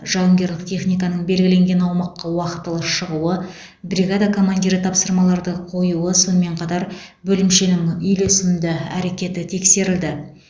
жауынгерлік техниканың белгіленген аумаққа уақытылы шығуы бригада командирі тапсырмаларды қоюы сонымен қатар бөлімшенің үйлесімді әрекеті тексерілді